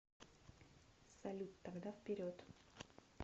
салют тогда вперед